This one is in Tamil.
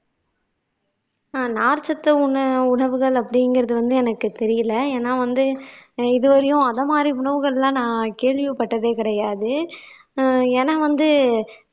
ஆஹ் நார்ச் சத்து உண உணவுகள் அப்படிங்கிறது வந்து எனக்கு தெரியலே ஏன்னா வந்து இதுவரையும் அத மாதிரி உணவுகள் எல்லாம் நான் கேள்விப்பட்டதே கிடையாது ஆஹ் ஏன்னா வந்து